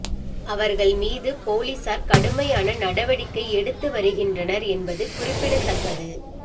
அவர்கள் மீது போலீசார் கடுமையான நடவடிக்கை எடுத்து வருகின்றனர் என்பது குறிப்பிடத்தக்கது